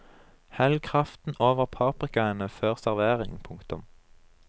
Hell kraften over paprikaene før servering. punktum